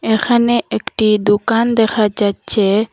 এখানে একটি দুকান দেখা যাচ্ছে।